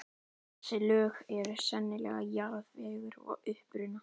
Þessi lög eru sennilega jarðvegur að uppruna.